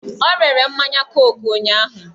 O rere mmanya koku ụnyụahụ.